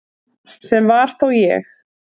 Sem var þó ég.